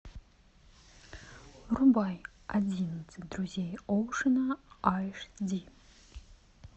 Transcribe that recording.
врубай одиннадцать друзей оушена айш ди